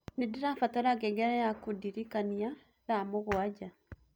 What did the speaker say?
nĩndĩrabatara ngengere ya kũndĩrĩkanĩa thaa mũgwanja